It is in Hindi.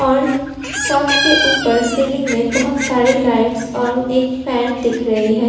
और शॉप के ऊपर सीलिंग में बहोत साररी लाइट्स और एक फैन दिख रही है।